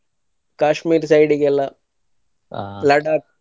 Kashmir side ಗೆಲ್ಲಾ .